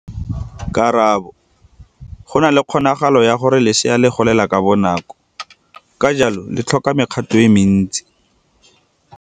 Karabo, go na le kgonagalo ya gore lesea le golela ka bonako, ka jalo le tlhoka me kgato e mentsi.